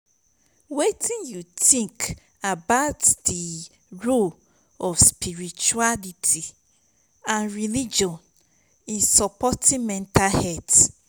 wetin you think about di role of spirituality and religion in supporting mental health?